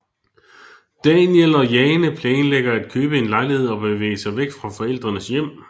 Daniel og Jane planlægger at købe en lejlighed og bevæge sig væk fra forældrenes hjem